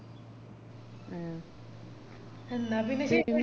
മ് എന്ന പിന്നെ